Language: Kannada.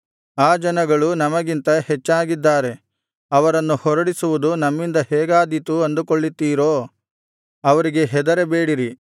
ಆ ಜನಗಳು ನಮಗಿಂತ ಹೆಚ್ಚಾಗಿದ್ದಾರೆ ಅವರನ್ನು ಹೊರಡಿಸುವುದು ನಮ್ಮಿಂದ ಹೇಗಾದೀತು ಅಂದುಕೊಳ್ಳುತ್ತೀರೋ ಅವರಿಗೆ ಹೆದರಬೇಡಿರಿ